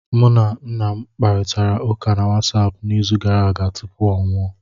Mụ na nna m kparịtara ụka na Wasapụ n'izu gara aga tupu ọ nwụọ